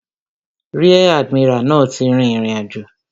Ríẹ̀ àdìmíràlí náà ti rìn ìrìnàjò